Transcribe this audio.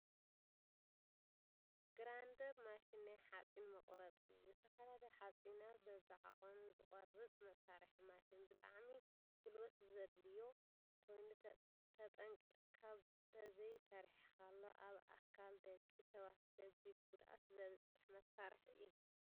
ግራይንደር ማሽን ናይ ሓፂን መቅረፂ እዩ። ዝተፈላለዩ ሓፂናት በቢዓቀኑ ዝቆርፅ መሳሪሒ ማሽን ብጣዕሚ ጉልበት ዘድልዮ ኮይኑ ተጠንቂቅካ ተዘይ ሰሪሕካሉ ኣብ ኣካል ደቂ ሰባት ከቢድ ጉድኣት ዘብፅሕ መሳሪሒ እዩ።